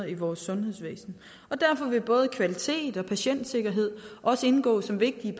i vores sundhedsvæsen derfor vil både kvalitet og patientsikkerhed også indgå som vigtige